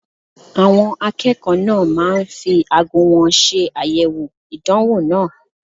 Àwọn akẹ́kọ̀ọ́ náà máa ń fi aago wọn ṣe àyẹ̀wò ìdánwò náà.